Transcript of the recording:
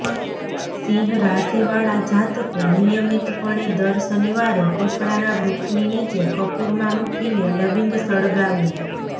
સિંહ રાશિવાળા જાતકો નિયમિતપણે દર શનિવારે પીપળાના વૃક્ષની નીચે કપૂરમાં મૂકીને લવિંગ સળગાવો